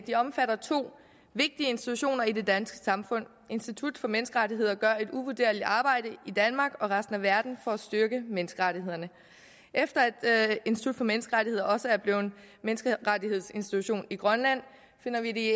det omfatter to vigtige institutioner i det danske samfund institut for menneskerettigheder gør et uvurderligt arbejde i danmark og resten af verden for at styrke menneskerettighederne efter at institut for menneskerettigheder også er blevet menneskerettighedsinstitution i grønland finder vi det